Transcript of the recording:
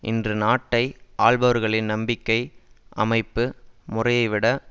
இன்று நாட்டை ஆள்பவர்களின் நம்பிக்கை அமைப்பு முறையைவிட